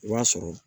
I b'a sɔrɔ